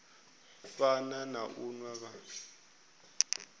fana na u nwa vha